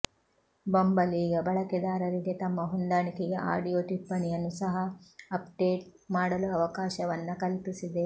bumble ಈಗ ಬಳಕೆದಾರರಿಗೆ ತಮ್ಮ ಹೊಂದಾಣಿಕೆಗೆ ಆಡಿಯೊ ಟಿಪ್ಪಣಿಯನ್ನು ಸಹ ಆಪ್ಡೇಟ್ ಮಾಡಲು ಅವಕಾಶವನ್ನ ಕಲ್ಪಿಸಿದೆ